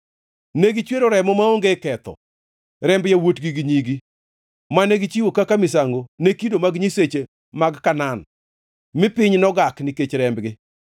Ne gichwero remo maonge ketho, remb yawuotgi gi nyigi, mane gichiwo kaka misango ne kido mag nyiseche mag Kanaan, mi piny nogak nikech rembgi.